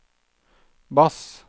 bass